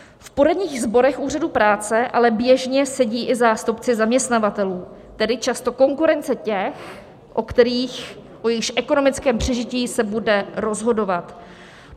V poradních sborech úřadů práce ale běžně sedí i zástupci zaměstnavatelů, tedy často konkurence těch, o kterých, o jejichž ekonomickém přežití se bude rozhodovat.